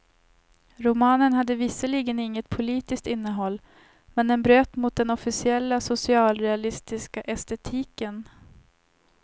Romanen hade visserligen inget politiskt innehåll, men den bröt mot den officiella socialrealistiska estetiken.